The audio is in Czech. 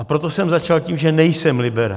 A proto jsem začal tím, že nejsem liberál.